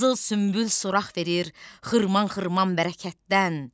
Qızıl sümbül surax verir xırman-xırman bərəkətdən.